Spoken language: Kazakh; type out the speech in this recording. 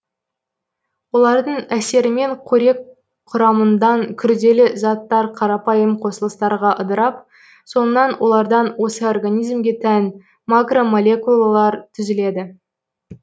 олардың әсерімен қорек құрамындан күрделі заттар қарапайым қосылыстарға ыдырап соңынан олардан осы организмге тән макромолекулалар түзіледі